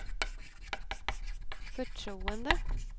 förtroende